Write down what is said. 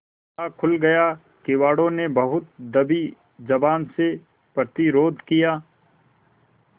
ताला खुल गया किवाड़ो ने बहुत दबी जबान से प्रतिरोध किया